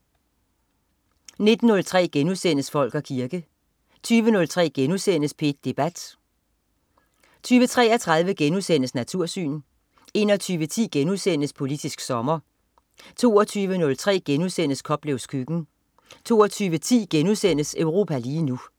19.03 Folk og kirke* 20.03 P1 Debat* 20.33 Natursyn* 21.10 Politisk sommer* 22.03 Koplevs køkken* 22.10 Europa lige nu*